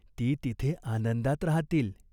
ती तिथे आनंदात राहतील.